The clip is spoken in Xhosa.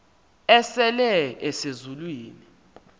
asele ese zulwini